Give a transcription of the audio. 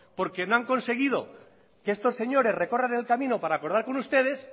porque no han conseguido que estos señores recorran el camino para acordar con ustedes